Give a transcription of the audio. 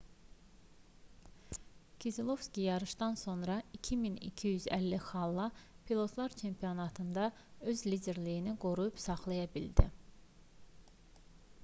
kezelovski yarışdan sonra 2250 xalla pilotlar çempionatında öz liderliyini qoruyub saxlaya bildi